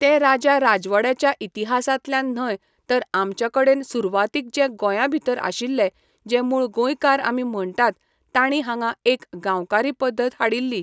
ते राजा राजवाड्याच्या इतिहासांतल्यान न्हय तर आमच्या कडेन सुरवातीक जे गोंया भितर आशील्ले जे मूळ गोंयकार आमी म्हणटात ताणी हांगा एक गांवकारी पद्धत हाडिल्ली